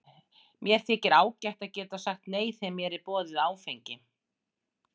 Mér þykir ágætt að geta sagt nei þegar mér er boðið áfengi.